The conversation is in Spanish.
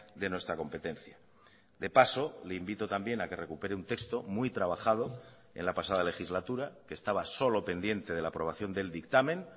de nuestra competencia de paso le invito también a que recupere un texto muy trabajado en la pasada legislatura que estaba solo pendiente de la aprobación del dictamen